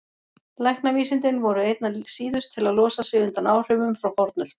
Læknavísindin voru einna síðust til að losa sig undan áhrifum frá fornöld.